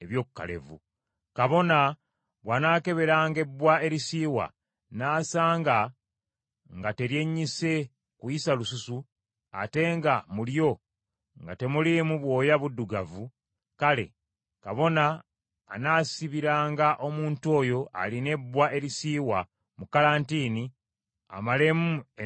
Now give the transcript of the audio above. Kabona bw’anaakeberanga ebbwa erisiiwa, n’asanga nga teryennyise kuyisa lususu, ate nga mu lyo nga temuliimu bwoya buddugavu, kale kabona anaasibiranga omuntu oyo alina ebbwa erisiiwa mu kalantiini amalemu ennaku musanvu.